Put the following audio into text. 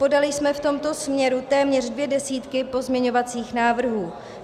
Podali jsme v tomto směru téměř dvě desítky pozměňovacích návrhů.